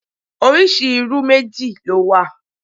Oríṣi irú méjì ló wà